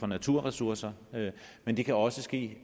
naturressourcer men det kan også ske